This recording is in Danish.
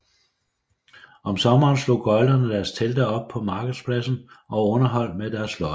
Om sommeren slog gøglere deres telte op på markedspladsen og underholdt med deres løjer